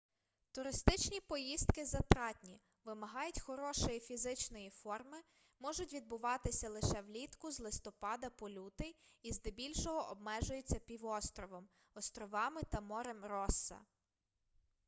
туристичні поїздки затратні вимагають хорошої фізичної форми можуть відбуватися лише влітку з листопада по лютий і здебільшого обмежуються півостровом островами та морем росса